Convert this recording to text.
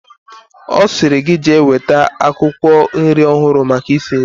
Osiri gi jee weta akwukwo nri ohuru maka isi nri